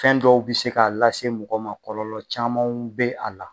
Fɛn dɔw bi se k'a lase mɔgɔ ma kɔlɔlɔ camanw be a la